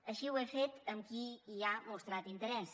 així ho he fet amb qui hi ha mostrat interès